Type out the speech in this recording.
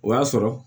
O y'a sɔrɔ